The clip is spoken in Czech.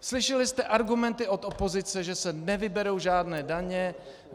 Slyšeli jste argumenty od opozice, že se nevyberou žádné daně.